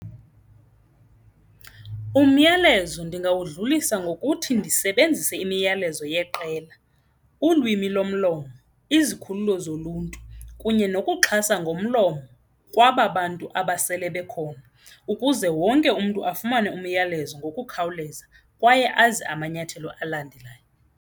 Umyalezo ndingawudlulisa ngokuthi ndisebenzise imiyalezo yeqela, ulwimi lomlomo, izikhululo zoluntu kunye nokuxhasa ngomlomo kwaba bantu abasele bekhona ukuze wonke umntu afumane umyalezo ngokukhawuleza kwaye azi amanyathelo alandelayo.